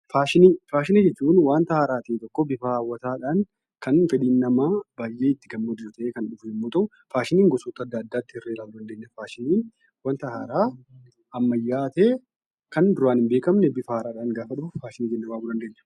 Faashinii Faashinii jechuun wanta haaraa ta'e tokko, bifa hawwataadhaan kan fedhiin namaa baay'ee itti gammadu yoo ta'u, faashinii gosoota adda addaatti hirree ilaaluu dandeenya. Faashiniin wanta haaraa ammayyaa'aa ta'e, kan duraan hin beekamne, bifa haaraadhaan gaafa dhufu 'Faashinii' jennee waamuu dandeenya.